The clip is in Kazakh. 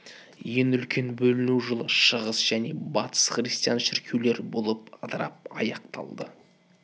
ең үлкен бөліну жылы шығыс және батыс христиан шіркеулері болып ыдырап аяқталды